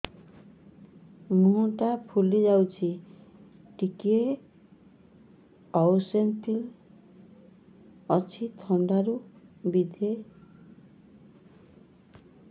ମୁହଁ ଟା ଫୁଲି ଯାଉଛି ଟିକେ ଏଓସିନୋଫିଲିଆ ଅଛି ଥଣ୍ଡା ରୁ ବଧେ ସିମିତି ହଉଚି